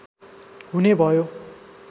हुने भयो